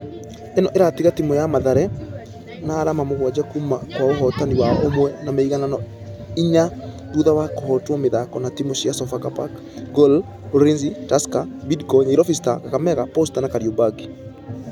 Ĩno ĩratiga timũ ya mathare na arama mũgwaja kuuma kwa ũhotani wao ũmwe na mĩiganano inya thutha wa kũhotwo mĩthako na timũ cia sofapaka, gor, ulinzi tusker , bidco , nyairobi stars, kakamega , posta na kariobangi.